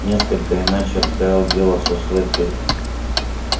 несколько иначе обстояло дело со слэттери